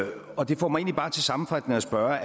og det får mig egentlig til sammenfattende at spørge